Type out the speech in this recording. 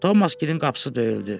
Tomasın qapısı döyüldü.